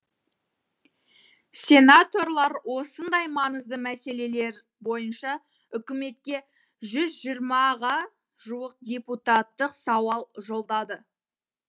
сенаторлар осындай маңызды мәселелер бойынша үкіметке жүз жиырмаға жуық депутаттық сауал жолдады